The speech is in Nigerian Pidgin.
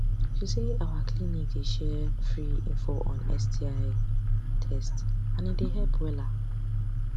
you say our clinic dey share free info on sti test and e dey help wella